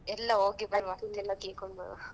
ಎಲ್ಲಾ ಹೋಗಿ ಬರ್ವ ice cream ಎಲ್ಲಾ ತಿನ್ಕೊಂಡ್‌ ಬರ್ವ.